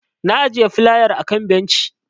Na ajiye filayar a kan benci.